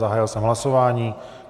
Zahájil jsem hlasování.